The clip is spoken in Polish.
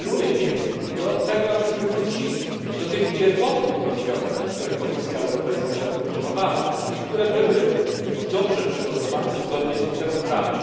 Apeluję więc o to, abyśmy wrócili do tych pierwotnych rozwiązań, które Komisja Europejska zaproponowała i które były dobrze przygotowane, zgodnie z literą prawa.